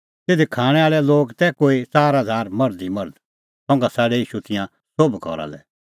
तिधी खाणैं आल़ै लोग तै कोई च़ार हज़ार मर्ध ई मर्ध और तेखअ छ़ाडै तेऊ तिंयां सोभ घरा लै